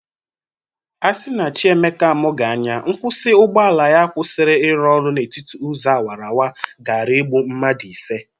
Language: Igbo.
Asi na Chi Emeka amụghị anya, nkwụsị ụgbọala ya kwụsiri ịrụ ọrụ n'etiti ụzọ awarawara gara egbụ mmadụ ise.